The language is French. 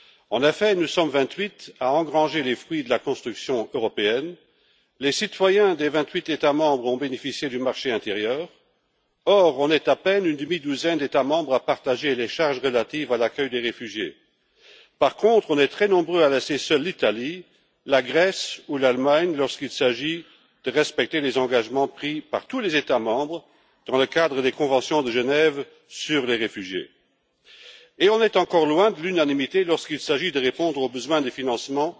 En effet, nous sommes vingt huit à engranger les fruits de la construction européenne, les citoyens des vingt huit États membres ont bénéficié du marché intérieur, mais nous sommes à peine une demi douzaine d'États membres à partager les charges relatives à l'accueil des réfugiés. Par contre, nous sommes très nombreux à laisser seules l'Italie, la Grèce ou l'Allemagne lorsqu'il s'agit de respecter les engagements pris par tous les États membres dans le cadre des conventions de Genève sur les réfugiés. Nous sommes également loin de l'unanimité lorsqu'il s'agit de répondre aux besoins de financement